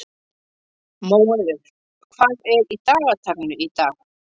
Móeiður, hvað er í dagatalinu í dag?